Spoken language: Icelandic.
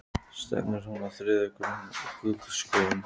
Stefnir hún á þriðja gullskóinn?